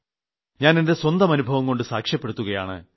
ഞാൻ എന്റെ സ്വന്തം അനുഭവംകൊണ്ട് സാക്ഷ്യപ്പെടുത്തുകയാണ്